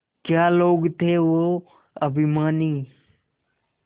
क्या लोग थे वो अभिमानी